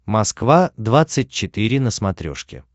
москва двадцать четыре на смотрешке